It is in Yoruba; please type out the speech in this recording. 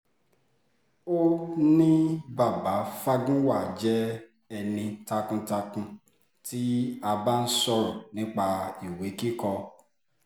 ó ní baba fagunwa jẹ́ ẹni takuntakun tí a bá ń sọ̀rọ̀ nípa ìwé kíkọ